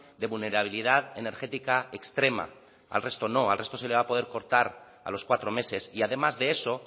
de vulnerabilidad energética extrema al resto no al resto se le va a poder cortar a los cuatro meses y además de eso